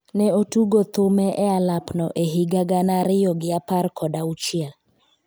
ne otugo thume e alapno e higa gana ariyo gi apar kod auchiel